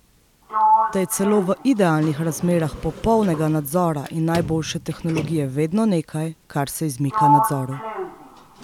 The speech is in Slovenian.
Da je celo v idealnih razmerah popolnega nadzora in najboljše tehnologije vedno nekaj, kar se izmika nadzoru.